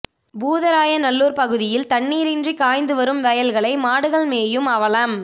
பூதராயநல்லூர் பகுதியில் தண்ணீரின்றி காய்ந்து வரும் வயல்களை மாடுகள் மேயும் அவலம்